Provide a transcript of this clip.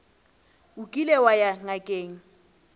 o kile wa ya ngakeng